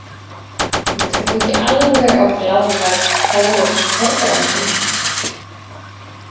Ég trúi ekki alveg á glaðværð Þórodds Þorbrandssonar.